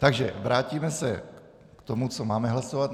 Takže vrátíme se k tomu, co máme hlasovat.